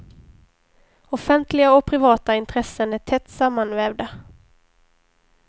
Offentliga och privata intressen är tätt sammanvävda.